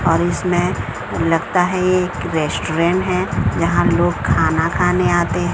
और इसमें लगता है ये एक रेस्टोरेंट है जहां लोग खाना खाने आते हैं।